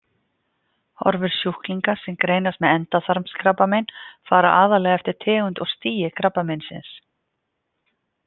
Horfur sjúklinga sem greinast með endaþarmskrabbamein fara aðallega eftir tegund og stigi krabbameinsins.